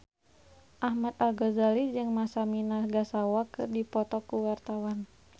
Ahmad Al-Ghazali jeung Masami Nagasawa keur dipoto ku wartawan